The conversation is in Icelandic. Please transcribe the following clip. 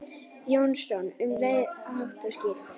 Jónsson um leið, hátt og skýrt.